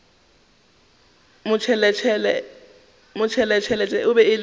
motšheletšhele e be e le